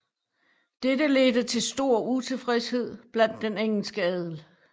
Dette ledte til utilfredshed blandt den engelske adel